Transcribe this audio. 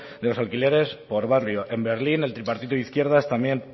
de los alquileres por barrio en berlín el tripartito de izquierdas también